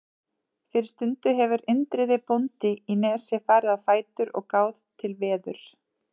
Fyrir stundu hefur Indriði bóndi í Nesi farið á fætur og gáð til veðurs.